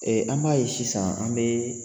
an b'a ye sisan an bɛ